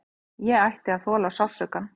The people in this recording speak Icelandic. Ég ætti að þola sársaukann.